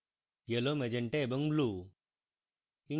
yellow magenta এবং blue